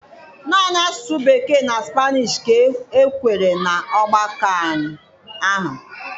Naanị asụsụ Bekee na Spanish ka e kwere na ọgbakọ ahụ.